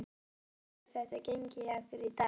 Hvernig hefur þetta gengið hjá ykkur í dag?